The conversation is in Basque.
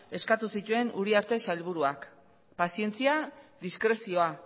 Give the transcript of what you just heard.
eskatu zituen uriarte sailburuak pazientzia diskrezioa